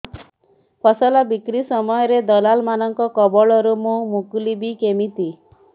ଫସଲ ବିକ୍ରୀ ସମୟରେ ଦଲାଲ୍ ମାନଙ୍କ କବଳରୁ ମୁଁ ମୁକୁଳିଵି କେମିତି